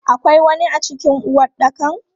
Akwai wani a cikin uwaɗɗakan?